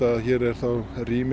að hér er þá rými